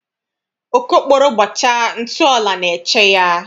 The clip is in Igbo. Okokporo gbachaa, ntụ ọla na-eche ya.